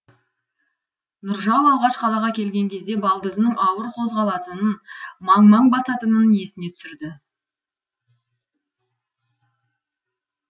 нұржау алғаш қалаға келген кезде балдызының ауыр қозғалатынын маң маң басатынын есіне түсірді